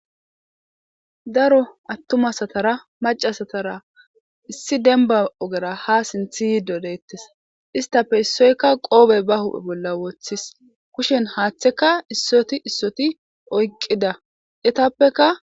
Daro attumasatara macasatara issi demba ogera ha sinthi yi dodeettes istape issoykka qoobey ba huphe bolla wooththis kushen haaththeka issoti issoti oyqqida etappeka.